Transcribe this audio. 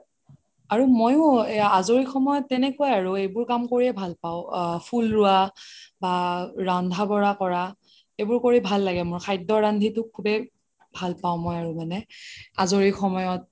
আৰু মইও আজৰি সময়ত তেনেকুৱাই আৰু এইবোৰ কাম কৰিয়ে ভাল পাও ফুল ৰুৱা বা ৰান্ধা বাঢ়া কৰা এইবোৰ কৰি ভাল লাগে মোৰ খদ্য ৰান্ধিটো খুবেই ভাল পাও মানে আজৰি সময়ত